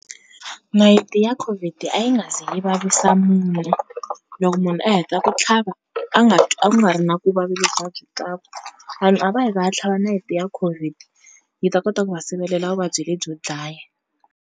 Nayiti ya COVID a yi nga ze yi vavisa munhu, loko munhu a heta ku tlhava a nga twi a ku nga ri na vuvavi lebyi a swi twaku. Vanhu a va yi va ya tlhava nayiti ya COVID, yi ta kota ku va sivelela vuvabyi lebyo dlaya.